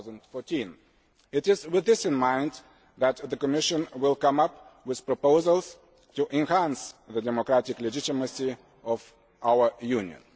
2014. It is with this in mind that the Commission will come up with proposals to enhance the democratic legitimacy of our Union.